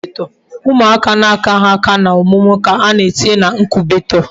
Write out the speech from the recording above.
Umuaka na akaghi aka na omumu ka ana etinye na incubator